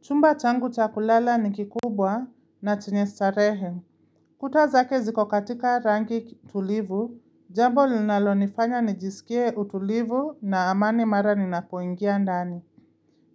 Chumba changu cha kulala ni kikubwa na chenye starehe. Kuta zake ziko katika rangi tulivu, jambo linalonifanya nijisikie utulivu na amani mara ninapoingia ndani.